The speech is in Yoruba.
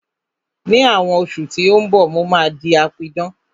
Ní àwọn oṣù tí ó ń bọ̀, mo máa di apidán